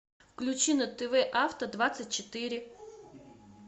включи на тв авто двадцать четыре